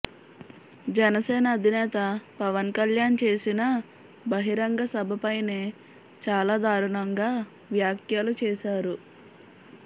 జనసేన అధినేత పవన్ కళ్యాణ్ చేసిన బహిరంగ సభ పైనే చాల దారుణంగా వ్యాఖ్యలు చేసారు